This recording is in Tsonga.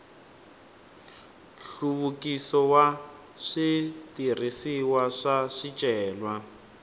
nhluvukiso wa switirhisiwa swa swicelwa